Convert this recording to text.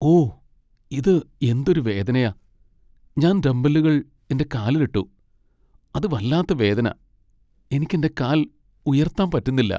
ഓ! ഇത് എന്തൊരു വേദനയാ. ഞാൻ ഡംബെല്ലുകൾ എന്റെ കാലിൽ ഇട്ടു , അത് വല്ലാത്ത വേദന. എനിക്ക് എന്റെ കാൽ ഉയർത്താൻ പറ്റുന്നില്ല .